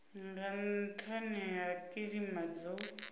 nga nhani ha kilima dzo